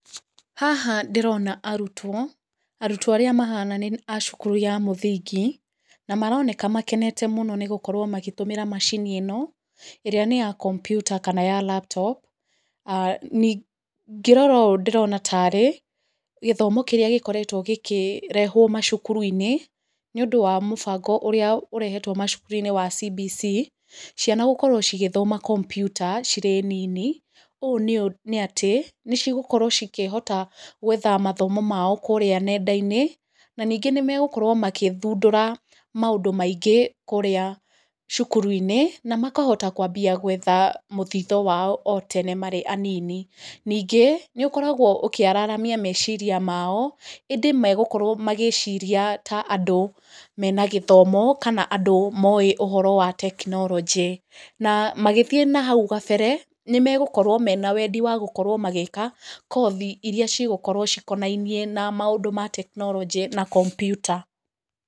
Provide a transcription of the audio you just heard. Haha ndĩrona arutwo, arutwo arĩa mahana ta marĩ a cukuru ya mũthingi, na maroneka makenete mũno nĩgũkorwo magĩtũmĩra macini ĩno ĩrĩa nĩya kompiuta kana ya laptop. Ndarora ũũ ndĩrona ta arĩ gĩthomo kĩrĩa gĩkoretwo gĩkĩrehwo mathukuru-inĩ, nĩũndũ wa mũbango ũrĩa ũrehetwo macukuru-inĩ wa CBC. Ciana gũkorwo cigĩthoma kompiuta cirĩ nini ũũ, nĩ atĩ nĩcigũkorwo cikĩhota gwetha mathomo mao kũrĩa nenda-inĩ, na ningĩ nĩmegũkorwo magĩthũndũra maũndũ maingĩ kũrĩa cukuru-inĩ, na makahota kwambia gwetha mũthithũ wao o tene marĩ anini. Ningĩ nĩũkoragwo ũkĩararamia meciria mao, ĩndĩ magũkorwo magĩciria ta andũ mena gĩthomo kana andũ mowĩ ũhoro wa tekinoronjĩ. Na magĩthiĩ na hau mbere nĩmegũkorwo mena wendi wa gũkorwo magĩka kothi iria cigũkorwo cikonainie na maũndũ ma tekinoronjĩ na kompiuta.